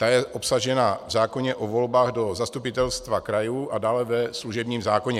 Ta je obsažena v zákoně o volbách do zastupitelstev krajů a dále ve služebním zákoně.